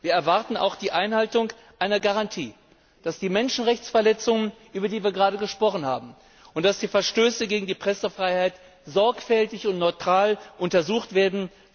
Wir erwarten auch die Einhaltung einer Garantie, dass die Menschenrechtsverletzungen, über die wir gerade gesprochen haben, und die Verstöße gegen die Pressefreiheit sorgfältig und neutral untersucht werden.